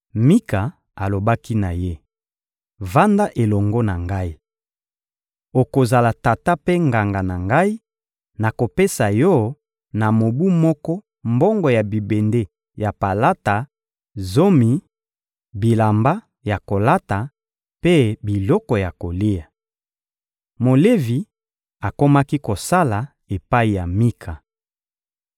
Mika alobaki na ye: — Vanda elongo na ngai. Okozala tata mpe nganga na ngai; nakopesa yo na mobu moko mbongo ya bibende ya palata, zomi, bilamba ya kolata mpe biloko ya kolia. Molevi akomaki kosala epai ya Mika.